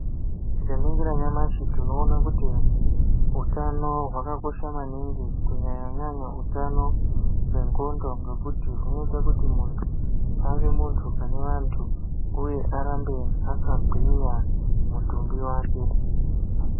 Tikaningira nyamashi tinoona kuti, utano hwakakosha maningi, kunyanya-nyanya utano hwendxondo, ngekuti hunoita kuti muntu, ave muntu pane vantu uye arambe akagwinya mutumbi wake.